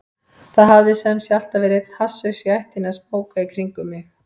Það hafði sem sé alltaf verið einn hasshaus í ættinni að smóka í kringum mig.